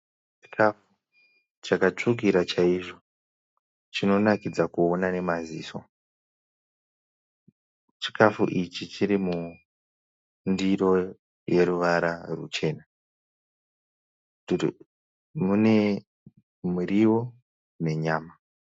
Chikafu chakatsvukira chaizvo chinonakidza kuona nemaziso, chikafu ichi chiri mundiro yeruvara ruchena mune muriwo nenyama.